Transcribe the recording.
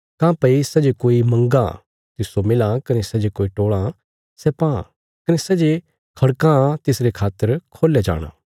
काँह्भई सै जे कोई मंगां तिस्सो मिलां कने सै जे टोल़ां सै पां कने सै जे खड़कां तिसरे खातर खोल्या जाणा